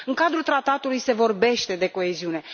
În cadrul Tratatului se vorbește de coeziune.